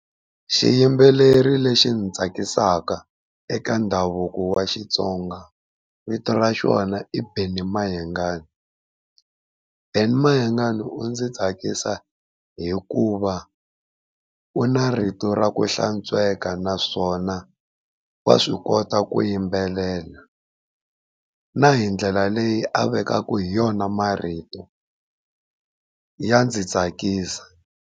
Xiyimbeleri lexi ndzi tsakisaka eka ndhavuko wa Xitsonga vito ra xona i Benny Mayengani. Benny Mayengani u ndzi tsakisa hikuva u na rito ra ku hlantsweka naswona wa swi kota ku yimbelela, na hi ndlela leyi a vekaka hi yona marito ya ndzi tsakisa.